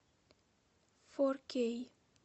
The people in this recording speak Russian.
фор кей